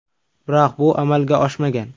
Biroq bu amalga oshmagan.